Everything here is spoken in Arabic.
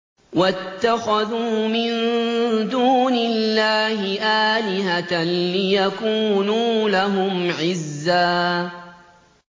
وَاتَّخَذُوا مِن دُونِ اللَّهِ آلِهَةً لِّيَكُونُوا لَهُمْ عِزًّا